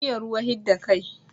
Iya ruwa hidda kai